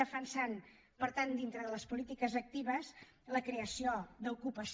defensem per tant dintre de les polítiques actives la creació d’ocupació